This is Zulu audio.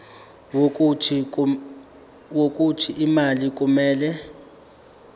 wokuthi imali kumele